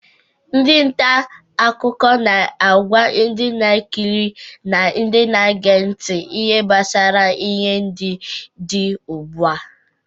Ndị nta akụkọ na-agwa ndị na-ekiri na ndi na-ege nti ihe gbasara ihe ndị dị ugbu a.